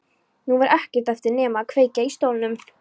Nú var ekkert eftir nema að kveikja í stólnum.